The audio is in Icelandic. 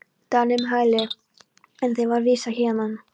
Dani um hæli, er þeim var vísað héðan.